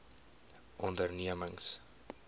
ondernemings